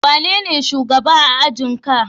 Wanene shugaba a ajin ka?